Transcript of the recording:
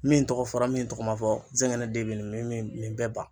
Min tɔgɔ fɔra min tɔgɔ ma fɔ zɛngɛnɛ den bi nin bɛɛ ban.